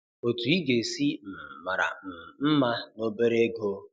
Otu ị ga-esi um mara um mma na obere ego